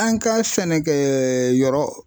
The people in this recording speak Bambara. An ka sɛnɛkɛ yɔrɔ